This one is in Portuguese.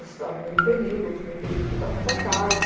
Eu estudava meio período, outro meio período cuidava da casa.